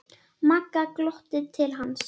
Magga glottir til hans.